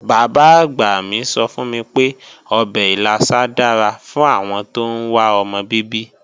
Bàbá-àgbà mi sọ fún mi pé ọbẹ̀ ìlàsà dára fún àwọn tóún wá ọmọ bíbí